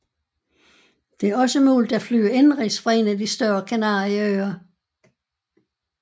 Det er også mulig at flyve indenrigs fra en af de større Kanarieøer